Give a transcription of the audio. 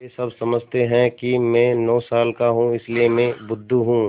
वे सब समझते हैं कि मैं नौ साल का हूँ इसलिए मैं बुद्धू हूँ